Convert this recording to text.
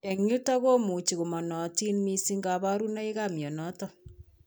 Eng' yutok komuchi komanaatin mising kabarunoikap mionitok